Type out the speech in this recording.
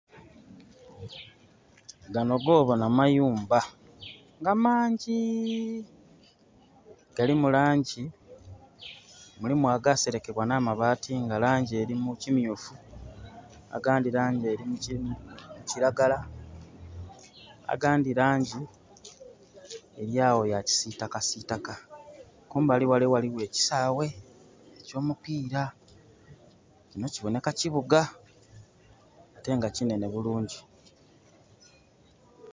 Gano goboona mayumba nga mangi. Galimu langi. Mulimu agaserekebwa na mabaati nga langi eri mukimyufu agandi langi erimu kilagala agandi langi eryawo ya kisitaka sitaka. Kumbali wale waliwo ekisaawe ekyo mupiira. Kino kiboneka kibuga ate nga kinene bulungi